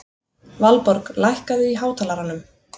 Valborg, lækkaðu í hátalaranum.